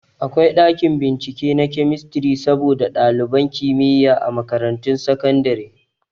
Akwai ɗakin bincike na kemistri saboda ɗaliban kimiyya a makarantun sakandare